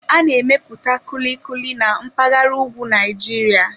A na-emepụta Kulikuli na mpaghara ugwu Naịjirịa.